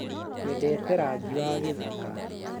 Nyendete Rangi Wa gĩthaka.